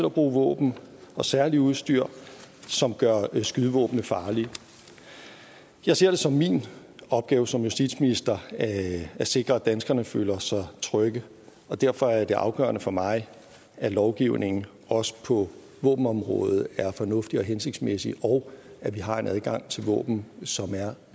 at bruge våben og særlig udstyr som gør skydevåbnene farlige jeg ser det som min opgave som justitsminister at sikre at danskerne føler sig trygge og derfor er det afgørende for mig at lovgivningen også på våbenområdet er fornuftig og hensigtsmæssig og at vi har en adgang til våben som er